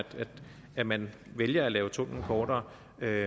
at man vælger at lave tunnellen kortere det